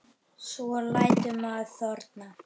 Svo lætur maður þorna.